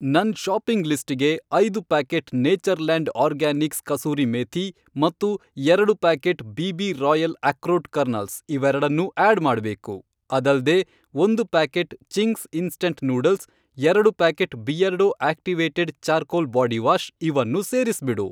ನನ್ ಷಾಪಿಂಗ್ ಲಿಸ್ಟಿಗೆ ಐದು packet Natureland organics kasuri methi ಮತ್ತು ಎರಡು packet BB royal akrot kernels ಇವೆರಡನ್ನೂ ಆಡ್ ಮಾಡ್ಬೇಕು. ಅದಲ್ದೇ, ಒಂದು ಪ್ಯಾಕೆಟ್ ಚಿಂಗ್ಸ್ ಇನ್ಸ್ಟಂಟ್ ನೂಡಲ್ಸ್ , ಎರಡು packet Beardo activated charcoal body wash ಇವನ್ನೂ ಸೇರಿಸ್ಬಿಡು.